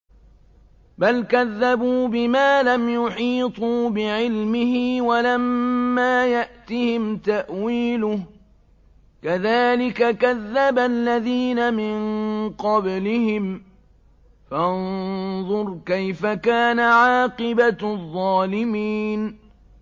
بَلْ كَذَّبُوا بِمَا لَمْ يُحِيطُوا بِعِلْمِهِ وَلَمَّا يَأْتِهِمْ تَأْوِيلُهُ ۚ كَذَٰلِكَ كَذَّبَ الَّذِينَ مِن قَبْلِهِمْ ۖ فَانظُرْ كَيْفَ كَانَ عَاقِبَةُ الظَّالِمِينَ